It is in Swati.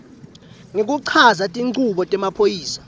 ngekuchaza tinchubo temaphoyisa